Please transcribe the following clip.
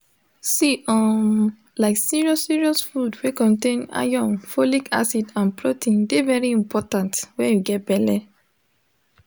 see um like serious serious food wey contain iron folic acid and protein de very important when you get belle